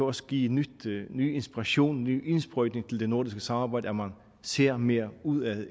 også give ny ny inspiration en ny indsprøjtning til det nordiske samarbejde at man ser mere udad